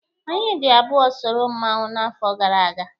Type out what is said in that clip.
Anyị dị abụọ soro mmanwụ n'afọ gara aga.